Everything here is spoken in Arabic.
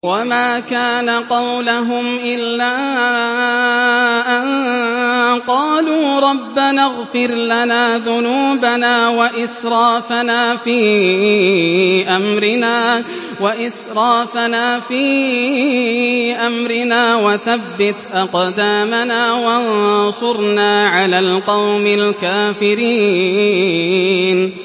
وَمَا كَانَ قَوْلَهُمْ إِلَّا أَن قَالُوا رَبَّنَا اغْفِرْ لَنَا ذُنُوبَنَا وَإِسْرَافَنَا فِي أَمْرِنَا وَثَبِّتْ أَقْدَامَنَا وَانصُرْنَا عَلَى الْقَوْمِ الْكَافِرِينَ